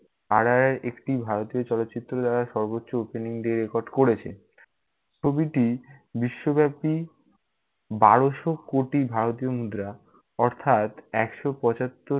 RRR একটি ভারতীয় চলচ্চিত্রের দ্বারা সর্বোচ্চ opening day record করেছে। ছবিটি বিশ্বব্যাপী, বারোশো কোটি ভারতীয় মুদ্রা অর্থাৎ একশো পচাত্তর-